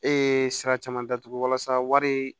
E ye sira caman datugu walasa warii